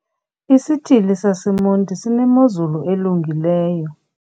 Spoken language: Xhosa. Isithili saseMonti sinemozulu elungileyo.